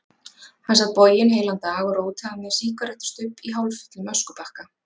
Hann sat boginn heilan dag, og rótaði með sígarettustubb í hálffullum öskubakka.